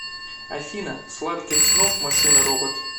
афина сладких снов машина робот